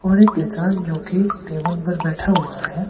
और एक इंसान जोकि टेबल पर बैठा हुआ है।